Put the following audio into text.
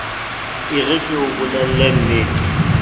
e re ke o bolellennete